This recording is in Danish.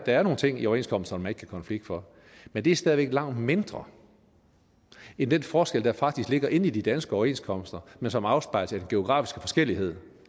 er nogle ting i overenskomsterne man ikke kan konflikte for men det er stadig væk langt mindre end den forskel der faktisk ligger inde i de danske overenskomster men som afspejles af den geografiske forskellighed